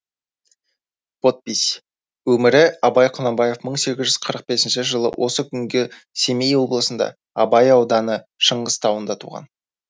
подпись өмірі абай құнанбаев мың сегіз жүз қырық бесінші жылы осы күнге семей облысы абай ауданы шыңғыс тауында туған